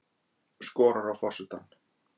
Skorar á forsetann